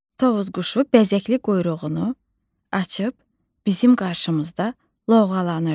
Tovuz quşu bəzəkli quyruğunu açıb bizim qarşımızda lovğalanırdı.